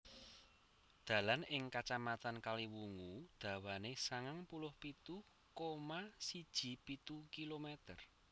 Dalan ing Kacamatan Kaliwungu dawane sangang puluh pitu koma siji pitu kilometer